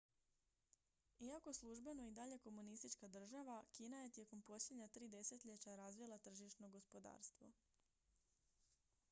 iako službeno i dalje komunistička država kina je tijekom posljednja tri desetljeća razvila tržišno gospodarstvo